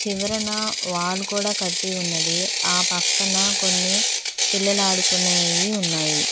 చివరునా wall కూడ కట్టి ఉన్నది ఆ పక్కన కొన్ని పిల్లలు ఆడుకునేయి ఉన్నాయి.